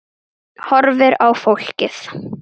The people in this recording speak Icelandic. Horfir á fólkið.